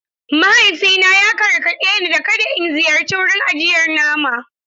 Mahaifina ya gargaɗe ni da kada in ziyarci wurin ajiyar nama.